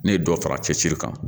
Ne ye dɔ fara cɛsiri kan